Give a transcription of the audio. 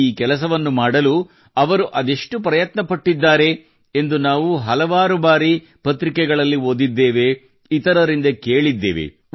ಈ ಕೆಲಸವನ್ನು ಮಾಡಲು ಇವರು ಅದೆಷ್ಟು ಪ್ರಯತ್ನಪಟ್ಟಿದ್ದಾರೆ ಎಂದು ನಾವು ಹಲವಾರು ಬಾರಿ ಪತ್ರಿಕೆಗಳಲ್ಲಿ ಓದಿದ್ದೇವೆ ಇತರರಿಂದ ಕೇಳಿದ್ದೇವೆ